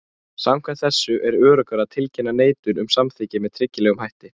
Samkvæmt þessu er öruggara að tilkynna neitun um samþykki með tryggilegum hætti.